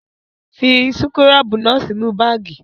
Fi súkúrọ́bù náà sínú báágì!